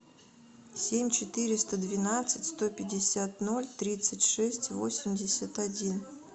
семь четыреста двенадцать сто пятьдесят ноль тридцать шесть восемьдесят один